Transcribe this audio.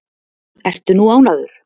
Ertu nú ánægður?